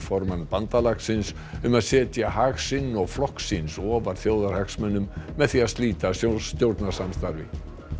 formann bandalagsins um að setja hag sinn og flokks síns ofar þjóðarhagsmunum með því að slíta stjórnarsamstarfi